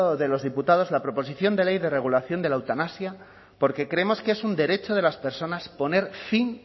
de los diputados la proposición de ley de regulación de la eutanasia porque creemos que es un derecho de las personas poner fin